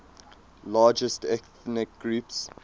largest ethnic groups